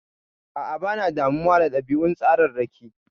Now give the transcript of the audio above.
A'a, bana damuwa da ɗabi'un tsararraki.